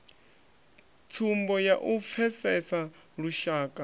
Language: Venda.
tsumbo ya u pfesesa lushaka